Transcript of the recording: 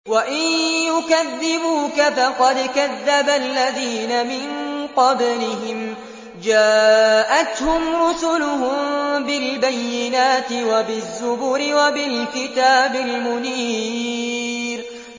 وَإِن يُكَذِّبُوكَ فَقَدْ كَذَّبَ الَّذِينَ مِن قَبْلِهِمْ جَاءَتْهُمْ رُسُلُهُم بِالْبَيِّنَاتِ وَبِالزُّبُرِ وَبِالْكِتَابِ الْمُنِيرِ